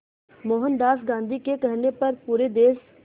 मोहनदास गांधी के कहने पर पूरे देश